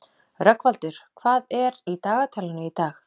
Rögnvaldur, hvað er í dagatalinu í dag?